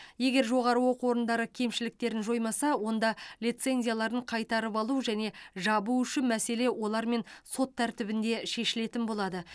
егер жоғары оқу орындары кемшіліктерін жоймаса онда лицензияларын қайтарып алу және жабу үшін мәселе олармен сот тәртібінде шешілетін болады